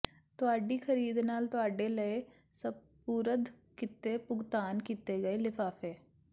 ਤੁਹਾਡੀ ਖਰੀਦ ਨਾਲ ਤੁਹਾਡੇ ਲਈ ਸਪੁਰਦ ਕੀਤੇ ਭੁਗਤਾਨ ਕੀਤੇ ਗਏ ਲਿਫਾਫੇ